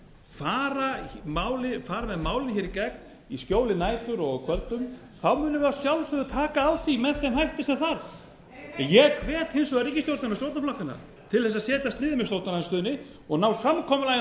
fara með málið í gegn í skjóli nætur og á kvöldum þá munum við að sjálfsögðu taka á því með þeim hætti sem þarf en ég hvet hins vegar ríkisstjórnina og stjórnarflokkana til að setjast niður með stjórnarandstöðunni og ná samkomulagi um